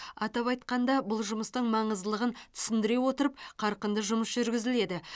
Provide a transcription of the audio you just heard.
атап айтқанда бұл жұмыстың маңыздылығын түсіндіре отырып қарқынды жұмыс жүргізіледі